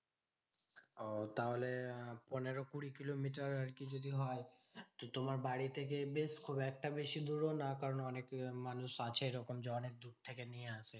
ওহ তাহলে পনেরো কুড়ি কিলোমিটার আরকি যদি হয়, তো তোমার বাড়ি থেকে বেশ খুব একটা বেশি দূরও না। কারণ অনেক মানুষ আছে ওরকম যে অনেক দূর থেকে নিয়ে আসে।